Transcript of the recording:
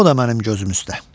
O da mənim gözüm üstə.